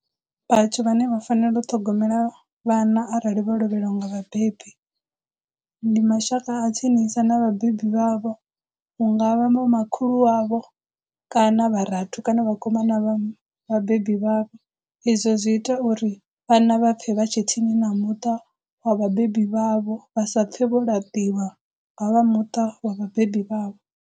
Vhathu vhane vha fanela u ṱhogomela vhana arali vho lovhelwa nga vhabebi ndi mashaka a tsinisa na vhabebi vhavho hungavha vho makhulu wavho kana vharathu kana vhakoma vha vhabebi vhavho, izwo zwi ita uri vhana vha pfhe vha tshe tsini na muṱa wa vhabebi vhavho vha sa pfhe vho laṱiwa nga vha muṱa wa vhabebi vhavho.